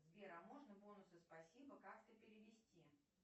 сбер а можно бонусы спасибо как то перевести